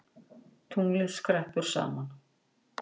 Tunglið skreppur saman